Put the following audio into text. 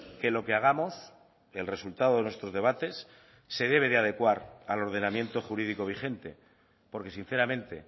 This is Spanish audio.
que lo que hagamos el resultado de nuestros debates se debe de adecuar al ordenamiento jurídico vigente porque sinceramente